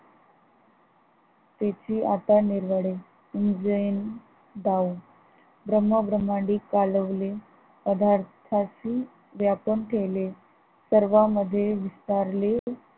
तेथे आपण निरवाडवे ब्रह्म भ्रमांडी कालवले पदार्थंची व्यापून ठेवले सर्वामध्ये विचारले